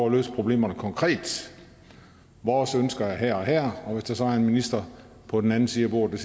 at løse problemerne konkret vores ønsker er her og her og hvis der så er en minister på den anden side af bordet der